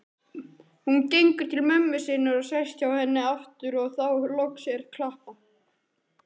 Hún gengur til mömmu sinnar og sest hjá henni aftur og þá loks er klappað.